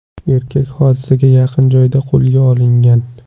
Erkak hodisaga yaqin joyda qo‘lga olingan.